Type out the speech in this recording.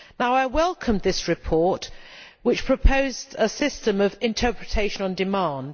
I welcome this report, which proposed a system of interpretation on demand.